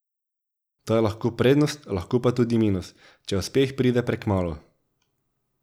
To je lahko prednost, lahko pa tudi minus, če uspeh pride prekmalu.